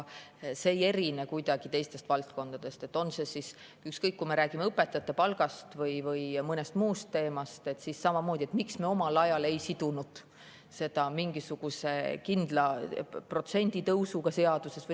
See ei erine kuidagi teistest valdkondadest, ükskõik, kas me räägime õpetajate palgast või mõnest muust teemast, samamoodi, et miks me omal ajal ei sidunud seda mingisuguse kindla protsendi tõusuga seaduses.